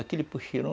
Aqui eles puxirum